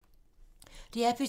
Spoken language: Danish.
DR P2